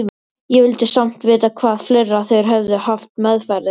Ég vildi samt vita hvað fleira þeir hefðu haft meðferðis.